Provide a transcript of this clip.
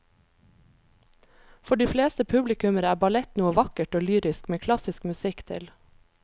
For de fleste publikummere er ballett noe vakkert og lyrisk med klassisk musikk til.